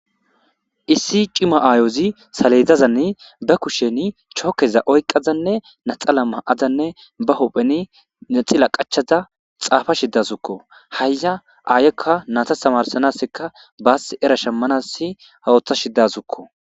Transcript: Issi cima aayozi saleydzazanni ba kushsheni chookeza oyqazanne naxala ma7adanne ba hoppheni naxila qachaza xaafa shidasukko haya aayekka nata tamarsanaseka baass era shemmanassi hawoththa shidasukko